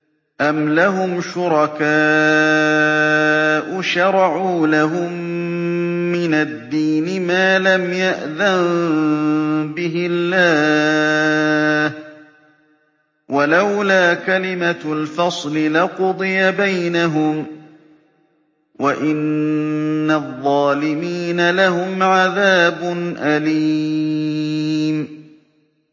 أَمْ لَهُمْ شُرَكَاءُ شَرَعُوا لَهُم مِّنَ الدِّينِ مَا لَمْ يَأْذَن بِهِ اللَّهُ ۚ وَلَوْلَا كَلِمَةُ الْفَصْلِ لَقُضِيَ بَيْنَهُمْ ۗ وَإِنَّ الظَّالِمِينَ لَهُمْ عَذَابٌ أَلِيمٌ